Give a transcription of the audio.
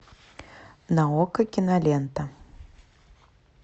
на окко кинолента